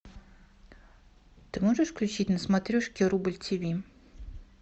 ты можешь включить на смотрешке рубль тиви